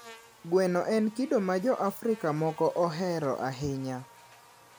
Gweno en kido ma Jo-Afrika moko ohero ahinya.